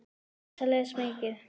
Dísa les mikið.